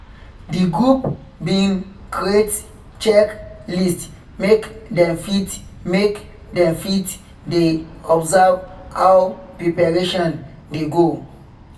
the group been create check list make them fit make them fit de observe how preparation dey go